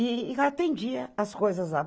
E atendia as coisas lá.